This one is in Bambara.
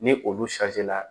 Ni olu la